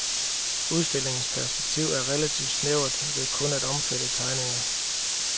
Udstillingens perspektiv er relativ snævert ved kun at omfatte tegninger.